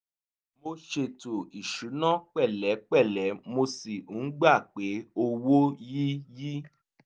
mo ṣètò ìṣúná pẹ̀lẹ́pẹ̀lẹ́ mo sì ń gba pé owó yí yí